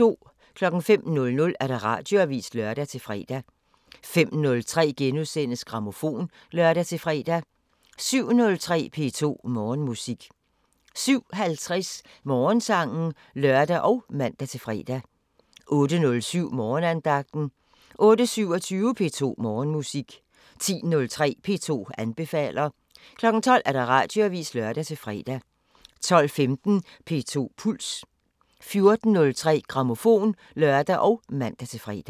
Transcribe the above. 05:00: Radioavisen (lør-fre) 05:03: Grammofon *(lør-fre) 07:03: P2 Morgenmusik 07:50: Morgensangen (lør og man-fre) 08:07: Morgenandagten 08:27: P2 Morgenmusik 10:03: P2 anbefaler 12:00: Radioavisen (lør-fre) 12:15: P2 Puls 14:03: Grammofon (lør og man-fre)